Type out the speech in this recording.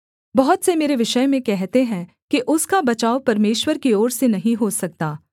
बहुत से मेरे विषय में कहते हैं कि उसका बचाव परमेश्वर की ओर से नहीं हो सकता सेला